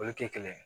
Olu tɛ kelen ye